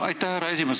Aitäh, härra esimees!